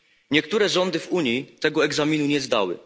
Niektóre rządy w Unii tego egzaminu nie zdały.